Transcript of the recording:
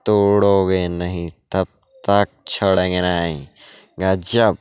तोड़ोगे नहीं तब तक छोड़ेंगे नयीं गज्जब।